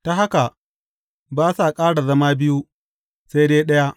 Ta haka, ba sa ƙara zama biyu, sai dai ɗaya.